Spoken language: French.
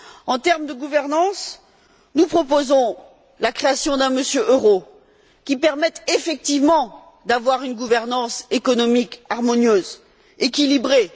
En termes de gouvernance, nous proposons la création d'un Monsieur Euro, qui permette effectivement d'avoir une gouvernance économique harmonieuse, équilibrée.